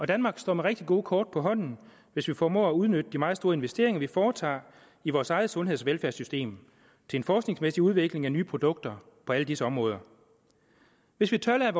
danmark står med rigtig gode kort på hånden hvis vi formår at udnytte de meget store investeringer vi foretager i vores eget sundheds og velfærdssystem til en forskningsmæssig udvikling af nye produkter på alle disse områder hvis vi tør